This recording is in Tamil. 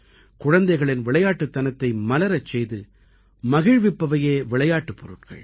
குழந்தைகளின் விளையாட்டுத்தனத்தை மலரச் செய்து மகிழ்விப்பவையே விளையாட்டுப் பொருட்கள்